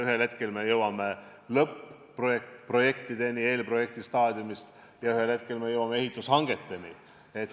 Ühel hetkel me jõuame eelprojektistaadiumist lõpp-projektideni ja ühel hetkel me jõuame ehitushangeteni.